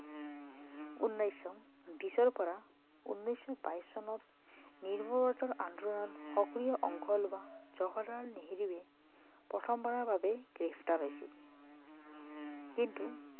উনৈছশ বিশৰ পৰা উনৈছশ বাইছ চনত আন্দোলনত সক্ৰিয় অংশ লোৱা জৱাহলাল নেহেৰুৱে প্ৰথম বাৰৰ বাবে গ্ৰেপ্তাৰ হৈছিল কিন্তু